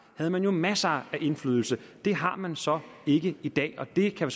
havde man jo masser af indflydelse det har man så ikke i dag og det kan